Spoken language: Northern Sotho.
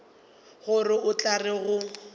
gore o tla re go